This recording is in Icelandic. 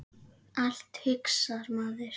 Allt, hugsar maður.